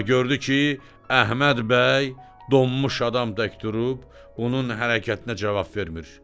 amma gördü ki, Əhməd bəy donmuş adam tək durub onun hərəkətinə cavab vermir.